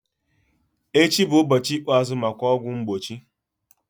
Echi bụ ụbọchị ikpeazụ maka ọgwụ mgbochi.